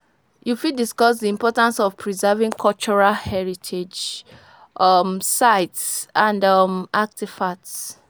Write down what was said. You fit discuss di importance of preserving cultural heritage um sites and um artifacts.